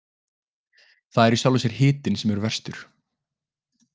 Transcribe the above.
Það er í sjálfu sér hitinn sem er verstur.